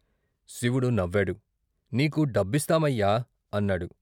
శివుడు నవ్వాడు నీకు డబ్బిస్తామయ్యా " అన్నాడు.